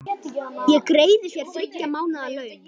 Ég greiði þér þriggja mánaða laun.